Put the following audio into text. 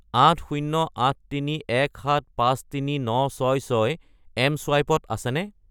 80831753966 এম.চুৱাইপ ত আছেনে?